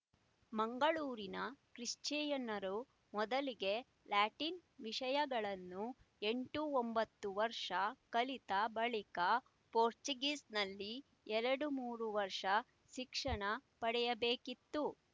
ಮಂಗಳೂರಿನ ಕ್ರಿಶ್ಚಿಯನ್ನರು ಮೊದಲಿಗೆ ಲ್ಯಾಟಿನ್ ವಿಷಯಗಳನ್ನು ಎಂಟುಒಂಬತ್ತು ವರ್ಷ ಕಲಿತ ಬಳಿಕ ಪೋರ್ಚುಗೀಸ್‍ನಲ್ಲಿ ಎರಡುಮೂರು ವರ್ಷ ಶಿಕ್ಷಣ ಪಡೆಯಬೇಕಿತ್ತು